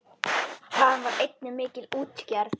Þaðan var einnig mikil útgerð.